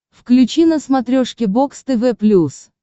включи на смотрешке бокс тв плюс